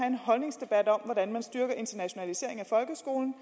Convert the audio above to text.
en holdningsdebat om hvordan man styrker internationaliseringen af folkeskolen